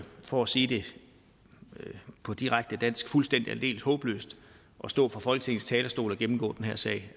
for at sige det på direkte dansk fuldstændig og aldeles håbløst at stå på folketingets talerstol og gennemgå den her sag